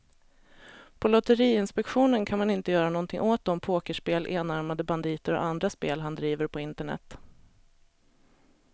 På lotteriinspektionen kan man inte göra någonting åt de pokerspel, enarmade banditer och andra spel han driver på internet.